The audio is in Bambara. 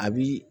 A bi